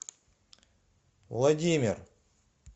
владимир